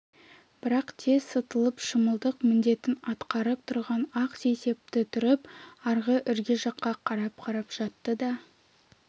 бірақ тез сытылып шымылдық міндетін атқарып тұрған ақ сейсепті түріп арғы ірге жаққа қарап-қарап жатты да